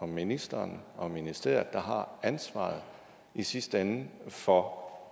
ministeren og ministeriet der har ansvaret i sidste ende for